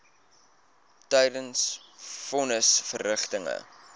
tydens von nisverrigtinge